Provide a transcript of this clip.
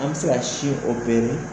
An bɛ se ka sin